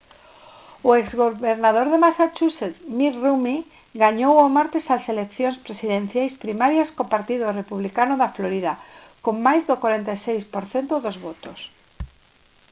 o exgobernador de massachusetts mitt romney gañou o martes as eleccións presidenciais primarias co partido republicano da florida con máis do 46 % dos votos